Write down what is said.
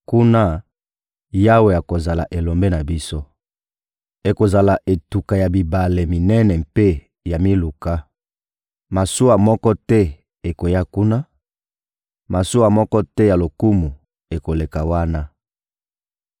Kuna, Yawe akozala Elombe na biso. Ekozala etuka ya bibale minene mpe ya miluka. Masuwa moko te ekoya kuna, masuwa moko te ya lokumu ekoleka wana.